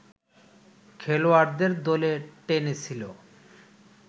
খেলোয়াড়দের দলে টেনেছিল